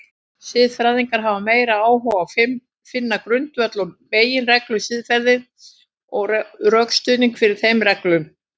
Siðfræðingar hafa meiri áhuga á finna grundvöll og meginreglur siðferðisins og rökstuðning fyrir þeim reglum.